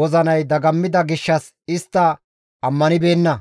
wozinay dagammida gishshas istta ammanibeenna.